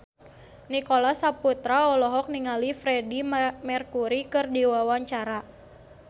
Nicholas Saputra olohok ningali Freedie Mercury keur diwawancara